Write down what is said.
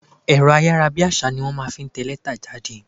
Ẹ̀rọ ayára bí àsá ni wọ́n máa ń fi ń tẹ ìwé jáde.